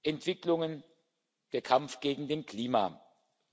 Entwicklungen und der Kampf gegen den Klimawandel.